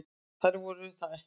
Þær voru það ekki.